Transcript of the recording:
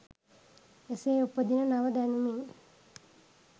එසේ උපදින නව දැනුමින්